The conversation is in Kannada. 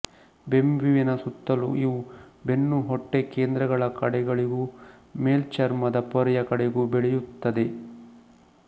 ಬೆಂಬೀವಿನ ಸುತ್ತಲೂ ಇವು ಬೆನ್ನು ಹೊಟ್ಟೆ ಕೇಂದ್ರಗಳ ಕಡೆಗಳಿಗೂ ಮೇಲ್ಚರ್ಮದ ಪೊರೆಯ ಕಡೆಗೂ ಬೆಳೆಯುತ್ತದೆ